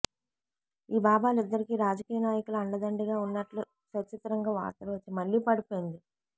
ఈ బాబాలిద్దరికీ రాజకీయ నాయకుల అండ దండిగా ఉన్నట్లు సచిత్రంగా వార్తలు వచ్చాయి